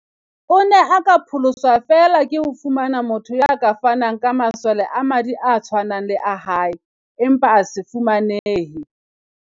O ne a ka pholoswa feela ke ho fumana motho ya ka fanang ka masole a madi a tshwanang le a hae, empa a se fumanehe.